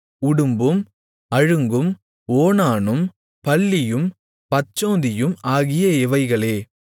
உடும்பும் அழுங்கும் ஓணானும் பல்லியும் பச்சோந்தியும் ஆகிய இவைகளே